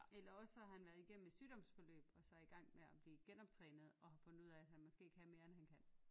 Eller også så har han været igennem et sygdomsforløb og så er igang med at blive genoptrænet og har fundet ud af han måske kan mere end han kan